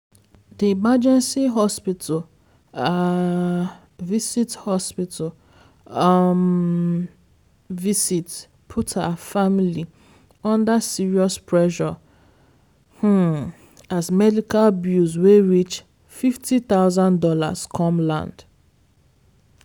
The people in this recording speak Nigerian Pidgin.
the emergency hospital um visit hospital um visit put her family under serious pressure um as medical bills wey reach fifty thousand dollars come land.